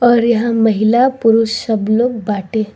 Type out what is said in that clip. और यहाँ महिला-पुरुष सब लोग बाटे।